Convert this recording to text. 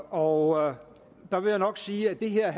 og der vil jeg nok sige at det her